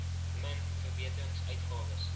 min verbeterings uitgawes